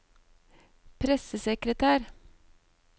pressesekretær